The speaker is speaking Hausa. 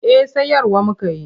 Eh sayarwa muka yi.